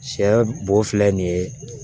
Sɛ bo filɛ nin ye